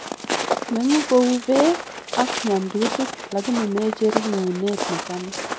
Menguu kou beek ak nyamndutik, lakini mecheruu nguunet nesamis.